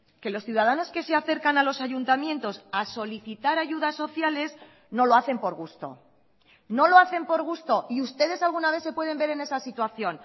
que los ciudadanos que se acercan a los ayuntamientos a solicitar ayudas sociales no lo hacen por gusto no lo hacen por gusto y ustedes alguna vez se pueden ver en esa situación